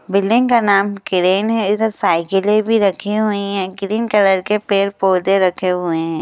Building का नाम crane है इधर साइकिलें भी रखी हुई हैं ग्रीन कलर के पेड़ पौधे रखे हुए हैं।